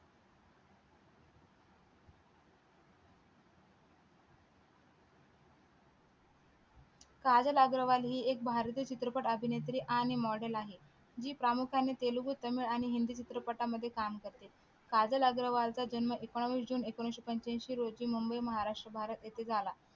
काजल अग्रवाल हि एक भारतीय चित्रपट अभिनेत्री आणि model आहे जी प्रामुख्याने तेलगू तामिळ आणि हिंदी चित्रपटामध्ये काम करते काजल अग्रवाल चा जन्म एकोणवीस जुन एकोणविशे पंच्यांशी रोजी मुंबई महाराष्ट्र भारत येथे झाला.